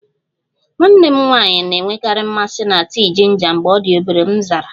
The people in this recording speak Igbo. Nwanne m nwanyị na-enwekarị mmasị na tii jinja mgbe ọ dị obere, m zara